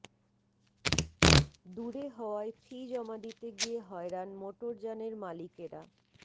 দূরে হওয়ায় ফি জমা দিতে গিয়ে হয়রান মোটরযানের মালিকেরা